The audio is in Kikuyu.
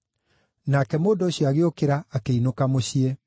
Nake mũndũ ũcio agĩũkĩra, akĩinũka mũciĩ.